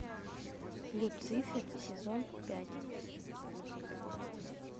люцифер сезон пять